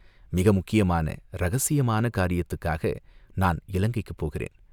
மிக முக்கியமான இரகசியமான காரியத்துக்காக நான் இலங்கைக்குப் போகிறேன்.